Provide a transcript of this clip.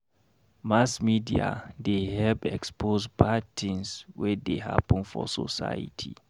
Mass media dey help expose bad tins wey dey happen for society.